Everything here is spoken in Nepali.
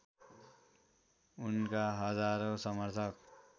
उनका हजारौं समर्थक